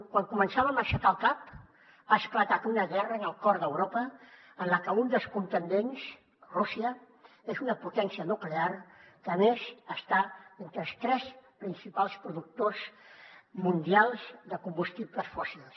quan començàvem a aixecar el cap ha esclatat una guerra en el cor d’europa en la que un dels contendents rússia és una potència nuclear que a més està entre els tres principals productors mundials de combustibles fòssils